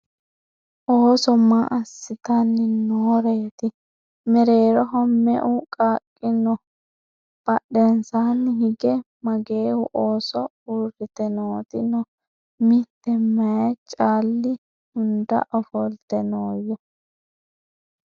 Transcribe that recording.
Ooso maa asittanni nooreetti ? Mereerroho me'eu qaaqi noo ? Badheennsaanni hige mageehu ooso uuritte nootti noo ? Mite mayi caali hunda ofolitte nooya ?